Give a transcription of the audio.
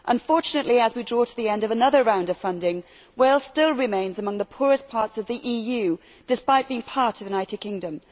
Unfortunately, as we draw to the end of another round of funding, Wales still remains among the poorest parts of the EU, despite being part of the United Kingdom.